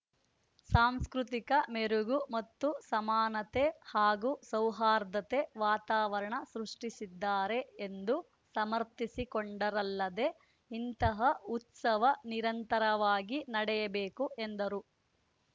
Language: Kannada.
ಸಾಂಸ್ಕೃತಿಕ ಮೆರುಗು ಮತ್ತು ಸಮಾನತೆ ಹಾಗೂ ಸೌಹಾರ್ದತೆ ವಾತಾವರಣ ಸೃಷ್ಟಿಸಿದ್ದಾರೆ ಎಂದು ಸಮರ್ಥಿಸಿಕೊಂಡರಲ್ಲದೆ ಇಂತಹ ಉತ್ಸವ ನಿರಂತರವಾಗಿ ನಡೆಯಬೇಕು ಎಂದರು